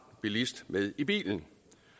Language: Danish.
bilist med i bilen